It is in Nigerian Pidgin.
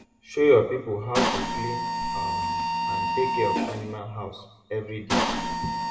show your people how to clean um and take care of animal house every day